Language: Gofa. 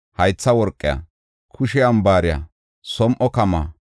haytha worqa, kushe ambaare, som7o kama,